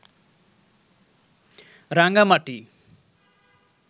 Rangamati